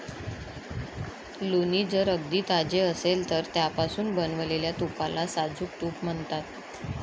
लोणी जर अगदी ताजे असेल तर त्यापासून बनवलेल्या तुपाला साजूक तूप म्हणतात.